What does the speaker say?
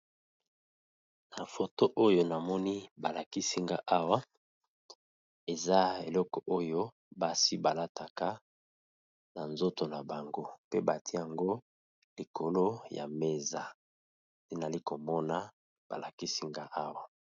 na foto oyo namoni balakisinga awa eza eleko oyo basi balataka na nzoto na bango mpe bati yango likolo ya meza ntinali komona balakisinga awa